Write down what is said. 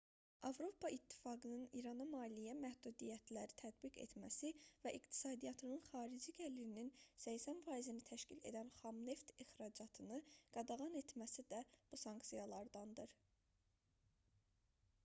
avropa i̇ttifaqının i̇rana maliyyə məhdudiyyətləri tətbiq etməsi və iqtisadiyyatının xarici gəlirinin 80%-ni təşkil edən xam neft ixracatını qadağan etməsi də bu sanksiyalardandır